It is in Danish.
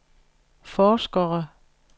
forskere